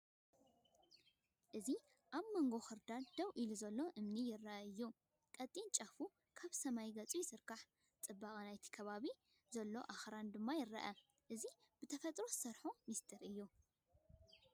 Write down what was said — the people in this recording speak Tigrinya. ኣብዚ ኣብ መንጎ ክርዳድ ደው ኢሉ ዘሎ እምኒ ርኣዩ እዩ። ቀጢን ጫፉ ናብ ሰማይ ገጹ ይዝርጋሕ፣ ጽባቐ ናይቲ ኣብ ከባቢኡ ዘሎ ኣኽራንን ድማ ይርአ። እዚ ብተፈጥሮ ዝሰርሖ ምስጢር እዩ።